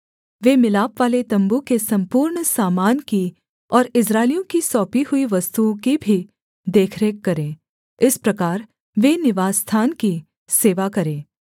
वे मिलापवाले तम्बू के सम्पूर्ण सामान की और इस्राएलियों की सौंपी हुई वस्तुओं की भी देखरेख करें इस प्रकार वे निवासस्थान की सेवा करें